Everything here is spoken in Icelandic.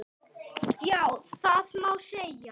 Já, það má segja.